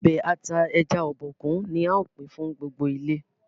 Ọbẹ̀ ata ẹja Obokun ní ào pin fún gbogbo ilé.